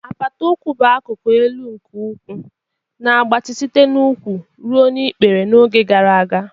Apata ukwu bụ akụkụ elu nke ụkwụ, na-agbatị site n'úkwù ruo n'ikpere n'oge gara aga.